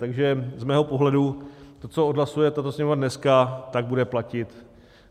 Takže z mého pohledu to, co odhlasuje tato Sněmovna dneska, tak bude platit.